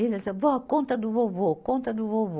E eles âh, vó, conta do vovô, conta do vovô.